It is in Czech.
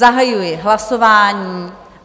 Zahajuji hlasování.